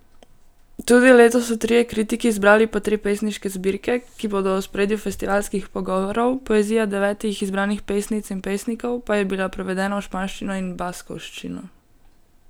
Tudi letos so trije kritiki izbrali po tri pesniške zbirke, ki bodo v ospredju festivalskih pogovorov, poezija devetih izbranih pesnic in pesnikov pa je bila prevedena v španščino in baskovščino.